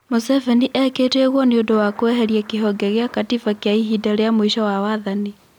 Mũseveni ekĩte ũguo nĩũndũ wa Kweheria kĩhonge gĩa gatĩba kia ihinda ria mũico wa wathani